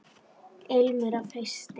Ilmur af hausti!